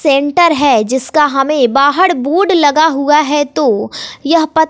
centre है जिसका हमें बाहर बोर्ड लगा हुआ है तो यह--